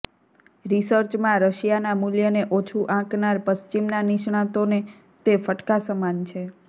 રિસર્ચમાં રશિયાનાં મૂલ્યને ઓછું આંકનાર પશ્ચિમના નિષ્ણાતોને તે ફટકા સમાન છે